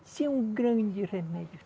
Isso é um grande remédio.